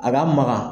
A ka magan